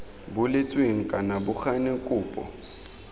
boletsweng kana bo gane kopo